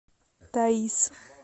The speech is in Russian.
таиз